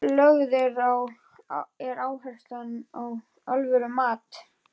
Lögð er áhersla á alvöru mat.